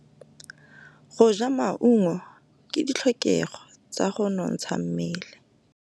Go ja maungo ke ditlhokegô tsa go nontsha mmele.